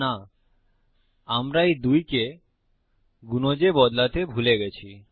না আমরা এই 2 কে গুনজে বদলাতে ভুলে গেছি